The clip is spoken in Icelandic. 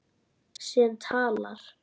Sem talar.